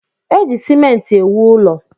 Eji simenti ewu ụlọ.